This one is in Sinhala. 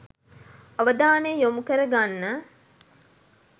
අවධානය යොමු කරගන්න